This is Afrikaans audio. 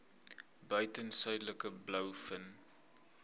buiten suidelike blouvin